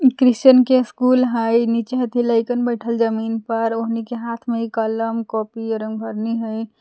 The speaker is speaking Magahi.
क्रिस्चियन के स्कूल हइ नीचे हथि लैकन बैठल जमीन पर ओखनि के हाथ में कलम कॉपी आर रंगभरनी हइ ।